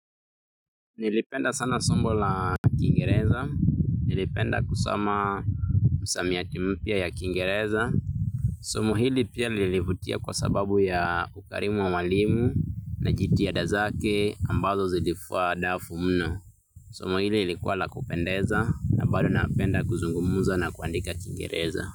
Nilipenda sana somo la Kiingereza. Nilipenda kusoma misamiati mpya ya Kiingereza. Somo hili pia lilivutia kwa sababu ya ukarimu wa mwalimu na jitihada zake ambazo zilifua dafu mno. Somo hili lilikuwa la kupendeza na bado napenda kuzungumza na kuandika Kiingereza.